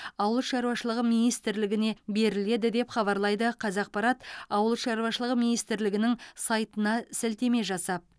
ауыл шаруашылығы министрлігіне беріледі деп хабарлайды қазақпарат ауыл шаруашылығы министрлігінің сайтына сілтеме жасап